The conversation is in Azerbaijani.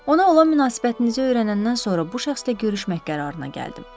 Ona olan münasibətinizi öyrənəndən sonra bu şəxslə görüşmək qərarına gəldim.